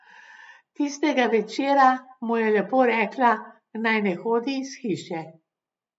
Tistega večera mu je lepo rekla, naj ne hodi iz hiše.